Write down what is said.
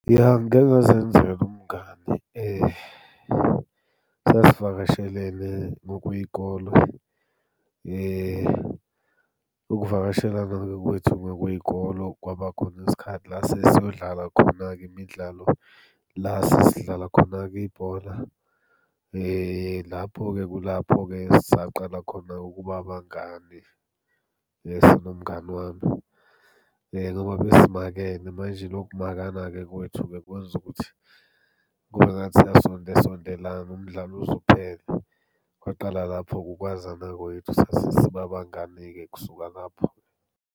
Ya, ngike ngazenzela umngani, sasivakashelene ngokwey'kole. Ukuvakashelana-ke kwethu ngokwey'kolo kwaba khona isikhathi la sesiyodlala khona-ke imidlalo, la sesidlala khona-ke ibhola lapho-ke kulapho-ke esaqala khona-ke ukuba abangani sinomngani wami, ngoba besimakene. Manje loku kumakana-ke kwethu kwenza ukuthi kube ngathi siyasonde sondelana umdlalo uze uphele. Kwaqala lapho-ke ukwazana kwethu, sasesiba abangani-ke kusuka lapho.